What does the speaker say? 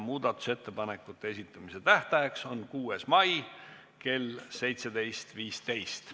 Muudatusettepanekute esitamise tähtaeg on 6. mai kell 17.15.